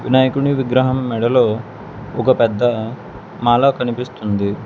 వినాయకుని విగ్రహం మెడలో ఒక పెద్ద మాలా కనిపిస్తుంది.